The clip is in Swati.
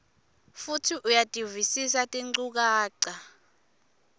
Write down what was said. futsi uyativisisa tinchukaca